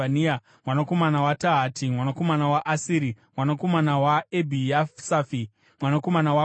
mwanakomana waTahati, mwanakomana waAsiri, mwanakomana waEbhiasafi; mwanakomana waKora,